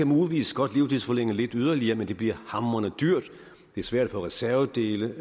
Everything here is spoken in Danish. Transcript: muligvis godt livstidsforlænge lidt yderligere men det bliver hamrende dyrt det er svært at få reservedele